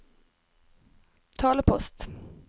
talepost